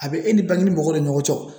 A bɛ e ni mɔgɔw ni ɲɔgɔn cɛ